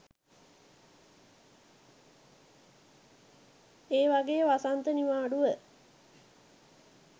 ඒ වගේ වසන්ත නිවාඩුව